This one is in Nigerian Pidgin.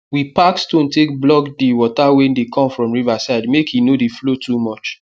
we pack stone take block dey water wey dey come from river side make e no dey flow too much